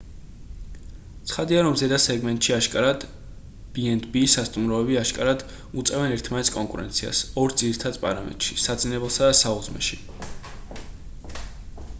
ცხადია რომ ზედა სეგმენტში აშკარად b&b სასტუმროები აშკარად უწევენ ერთმანეთს კონკურენციას ორ ძირითად პარამეტრში საძინებელსა და საუზმეში